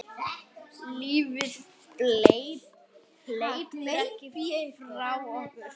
Lífið hleypur ekki frá okkur.